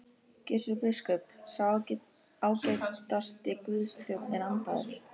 Gizur biskup, sá ágætasti Guðs þjónn er andaður.